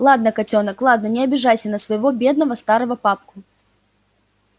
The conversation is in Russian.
ладно котёнок ладно не обижайся на своего бедного старого папку